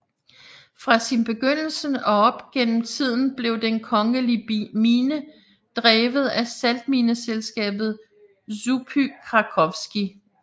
Fra sin begyndelse og op gennem tiden blev den kongelige mine drevet af saltmineselskabet Żupy krakowskie